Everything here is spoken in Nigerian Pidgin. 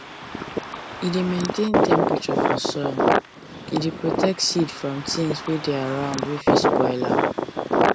e dey maintain temperature for soil e dey protect seed from things wey dey around wey fit spoil am